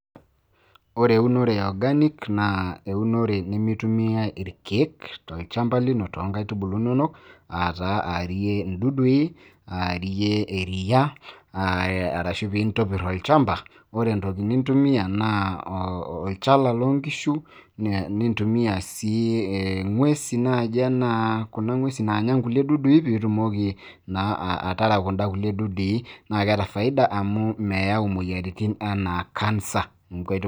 ore eunore e organic naa euonore nemeitumitae irkeek, tolchampa lino toonkaitubulu inonok.aa taa aarie ildudui. aarie eriia. arashu pee intobir olchampa. ore entoki nintumia naa olchala loo nkishu. nintumia sii ing'uesi naaji ake. anaa kuna ng'uesi naanya kulie dudui, pee itumoki naa ataraa kulie dudui amu meyau imoyiaritin anaa cancer.